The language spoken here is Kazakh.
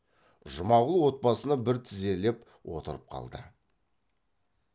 жұмағұл от басына бір тізелеп отырып қалды